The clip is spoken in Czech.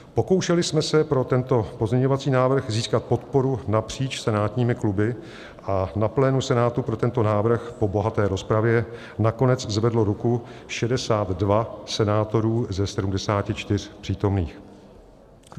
Pokoušeli jsme se pro tento pozměňovací návrh získat podporu napříč senátními kluby a na plénu Senátu pro tento návrh po bohaté rozpravě nakonec zvedlo ruku 62 senátorů ze 74 přítomných.